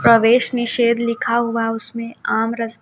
प्रवेश निषेध लिखा हुआ है उसमें आमरस--